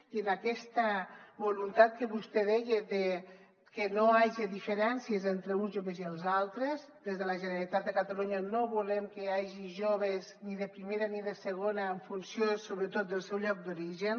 i en aquesta voluntat que vostè deia de que no hi hagi diferències entre uns joves i els altres des de la generalitat de catalunya no volem que hi hagi joves ni de primera ni de segona en funció sobretot del seu lloc d’origen